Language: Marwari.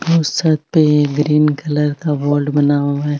और छत पे ग्रीन कलर का बोर्ड बना हुआ है।